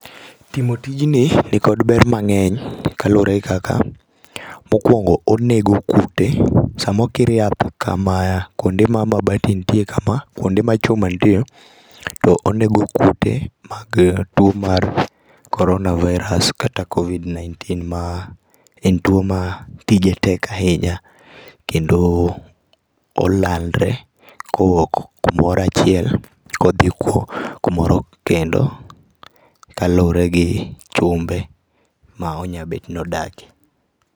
Timo tijini, nikod ber mang'eny kaluwore gi kaka, mokwongo onego kute. Samokir yath kamaya, kwonde ma mabati nitie kama kwonde ma chuma nitie, to onego kute mag tuo mar korona virus kata covid nineteen ma en tuo ma tije tek ahinya. Kendo olandre kowok kumoro achiel, kodhi kumoro kendo, kaluwore gi chumbe ma onyabet nodake